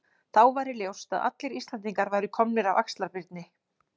Þá væri ljóst að allir Íslendingar væru komnir af Axlar-Birni.